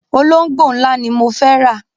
Olóngbó ńlá ni mo fẹ́ rà.